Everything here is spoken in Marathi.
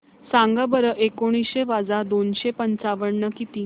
सांगा बरं एकोणीसशे वजा दोनशे पंचावन्न किती